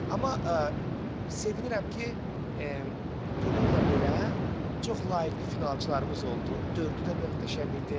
Amma sevinirəm ki, bununla belə çox layiqli finalistlərimiz oldu, dördü də möhtəşəm idi.